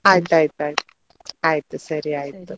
ಆಯ್ತಾಯ್ತು ಆಯ್ತು ಸರಿ ಆಯ್ತು.